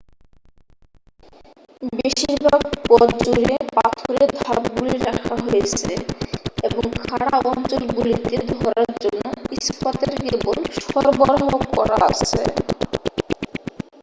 বেশিরভাগ পথ জুড়ে পাথরের ধাপগুলি রাখা হয়েছে এবং খাড়া অঞ্চলগুলিতে ধরার জন্য ইস্পাতের কেবল সরবরাহ করা আছে